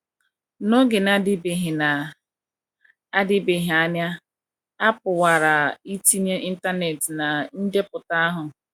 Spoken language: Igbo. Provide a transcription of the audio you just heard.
N’oge na - adịbeghị na - adịbeghị anya, a pụkwara itinye Internet ná ndepụta ahụ.